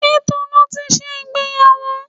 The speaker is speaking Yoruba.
Ṣé Tolu ti ṣe ìgbéyàwó?